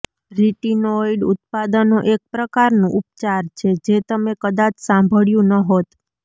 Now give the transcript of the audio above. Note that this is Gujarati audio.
રિટોિનોઇડ ઉત્પાદનો એક પ્રકારનું ઉપચાર છે જે તમે કદાચ સાંભળ્યું ન હોત